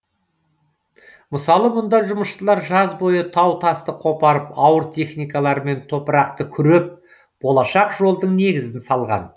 мысалы мұнда жұмысшылар жаз бойы тау тасты қопарып ауыр техникаларымен топырақты күреп болашақ жолдың негізін салған